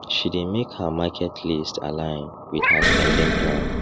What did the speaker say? she dey make her market list align with her spending plan